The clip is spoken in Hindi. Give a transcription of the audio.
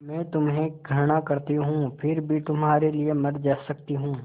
मैं तुम्हें घृणा करती हूँ फिर भी तुम्हारे लिए मर सकती हूँ